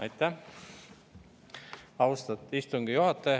Aitäh, austatud istungi juhataja!